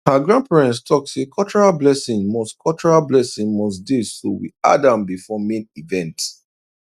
her grandparents talk say cultural blessing must cultural blessing must dey so we add am before main event